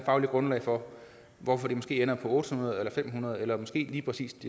fagligt grundlag for hvorfor det måske ender på otte hundrede eller fem hundrede eller måske lige præcis